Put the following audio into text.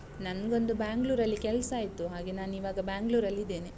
ನಂಗೊಂದು Bangalore ಅಲ್ಲಿ ಕೆಲ್ಸ ಆಯ್ತು, ಹಾಗೆ ನಾನಿವಾಗ Bangalore ಅಲ್ಲಿ ಇದ್ದೇನೆ.